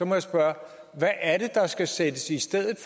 må jeg spørge hvad er det der skal sættes i stedet